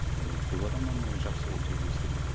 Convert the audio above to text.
мен көп адамнан жақсы отзыв естідім